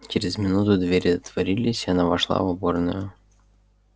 через минуту двери отворились и она вошла в уборную